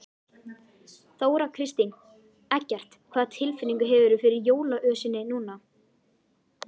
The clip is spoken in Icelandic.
Þóra Kristín: Eggert, hvaða tilfinningu hefurðu fyrir jólaösinni núna?